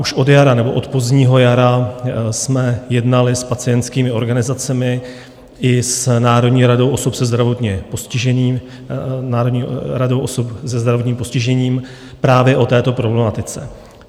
Už od jara nebo od pozdního jara jsme jednali s pacientskými organizacemi i s Národní radou osob se zdravotním postižením právě o této problematice.